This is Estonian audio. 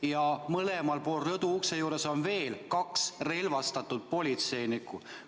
Ja mõlemal pool rõduukse juures on veel kaks relvastatud politseinikku.